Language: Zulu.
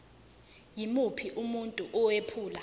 yimuphi umuntu owephula